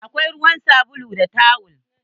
Akwai ruwa, sabulu da tawel.